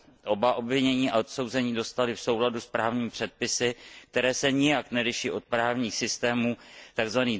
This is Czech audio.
Oba obvinění a odsouzení dostali v souladu s právními předpisy, které se nijak neliší od právních systémů tzv.